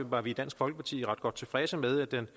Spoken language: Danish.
var vi i dansk folkeparti ret tilfredse med at den